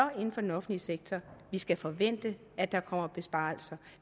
inden for den offentlige sektor vi skal forvente at der kommer besparelser